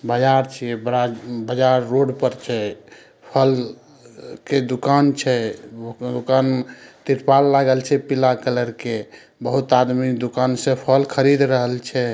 बाजर छीये बड़ा बाजार रोड पर छै फल के दुकान छै दुकान त्रिपाल लागल छै पीला कलर के बहुत आदमी दुकान से फल खरीद रहल छै।